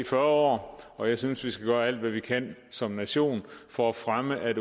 fyrre år og jeg synes vi skal gøre alt hvad vi kan som nation for at fremme at